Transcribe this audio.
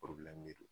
don